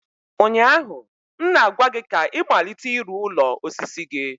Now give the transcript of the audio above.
ụnyaahụ m na-agwa gị ka ị malite ịrụ ụlọ osisi gị!